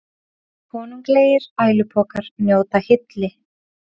Konunglegir ælupokar njóta hylli